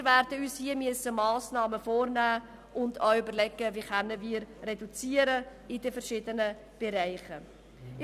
Wir werden uns hier Massnahmen vornehmen und auch überlegen müssen, wie wir in den verschiedenen Bereichen reduzieren können.